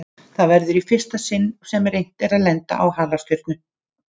Það verður í fyrsta sinn sem reynt er að lenda á halastjörnu.